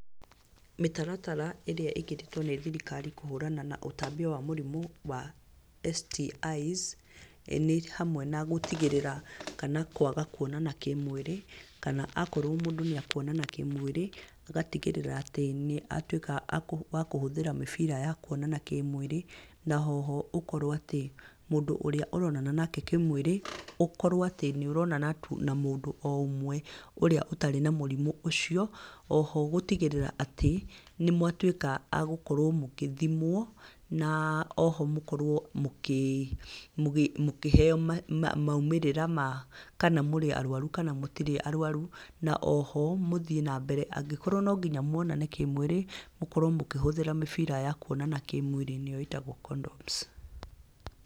Mĩtaratara ĩrĩa ĩkĩrĩtwo nĩ thirikari kũhũrana na ũtambia wa mũrimũ wa STIs, nĩ hamwe na gũtigĩrĩra kana kwaga kuonana kĩmwĩrĩ, kana akorwo mũndũ nĩ ekwonana kĩmwĩrĩ, agatigĩrĩra atĩ nĩ watuĩka wa kũhũthĩra mĩbira ya kuonana kĩmwĩrĩ, na oho ũkorwo atĩ, mũndũ ũrĩa ũronana nake kĩmwĩrĩ, ũkorwo atĩ nĩ ũronana tu na mũndũ o ũmwe, ũrĩa ũtarĩ na mũrimũ ũcio. Oho gũtigĩrĩra atĩ nĩ mwatuĩka a gũtuĩka gũthimwo, na oho mũkorwo mũkĩheyo maumirĩra ma kana mũrĩ arwaru kana mũtirĩ arwaru, na oho mũthiĩ na mbere na nonginya mwonane kĩmwĩrĩ, mũkorwo mũkĩhũthĩra mĩbira ya kuonana kĩmwĩrĩ nĩyo condoms.